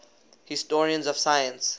historians of science